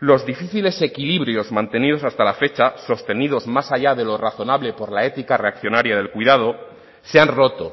los difíciles equilibrios mantenidos hasta la fecha sostenidos más allá de lo razonable por la ética reaccionaria del cuidado se han roto